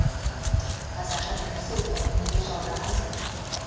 қазақша білмесе оны неге жалдағансың